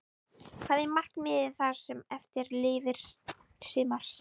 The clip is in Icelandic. Hvað er markmiðið það sem eftir lifir sumars?